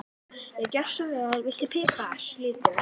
Já, gjörðu svo vel. Viltu pipar líka?